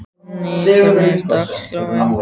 Hallný, hvernig er dagskráin?